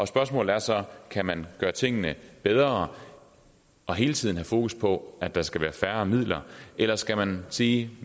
spørgsmålet er så kan man gøre tingene bedre og hele tiden have fokus på at der skal være færre midler eller skal man sige